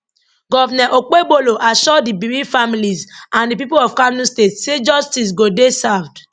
govnor okpebholo assure di bereaved families and di pipo of kano state say justice go dey served